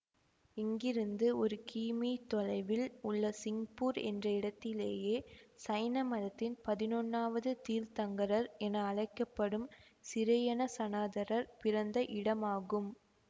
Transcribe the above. இங்கிருந்து ஒரு கிமீ தொலைவில் உள்ள சிங்பூர் என்ற இடத்திலேயே சைன மதத்தின் பதினொன்னாவது தீர்த்தங்கரர் என அழைக்க படும் சிரேயனசனாதரர் பிறந்த இடமாகும்